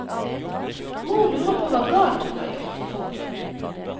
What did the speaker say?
Mor lurer på hva galt hun har gjort. punktum